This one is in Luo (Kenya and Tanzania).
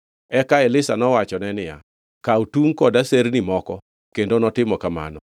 Eka Elisha nowachone niya, “Kaw atungʼ kod aserni moko,” kendo notimo kamano.